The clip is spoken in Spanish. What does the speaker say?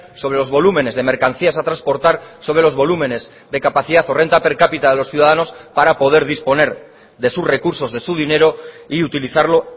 sobre los volúmenes de mercancías a transportar sobre los volúmenes de capacidad o renta per cápita de los ciudadanos para poder disponer de sus recursos de su dinero y utilizarlo